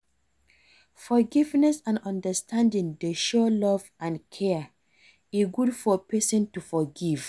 Forgiveness and understanding dey show love and care, e good for pesin to forgive.